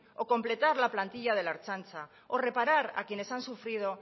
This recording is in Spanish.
o completar la plantilla de la ertzaintza o reparar a quienes han sufrido